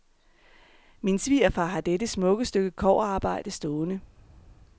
Min svigerfar har dette smukke stykke kobberarbejde stående.